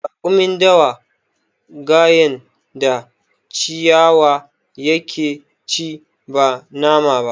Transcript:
Raƙumin dawa gayen da ciwaya ya ke ci ba nama ba